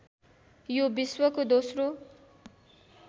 यो विश्वको दोस्रो